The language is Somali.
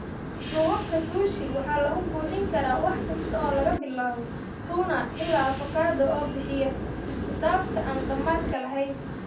Duubabka Sushi waxaa lagu buuxin karaa wax kasta oo laga bilaabo tuna ilaa avokado, oo bixiya isku-dhafka aan dhammaadka lahayn.